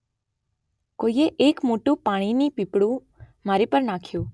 કોઇએ એક મોટું પાણીની પીપડું મારી પર નાખ્યું.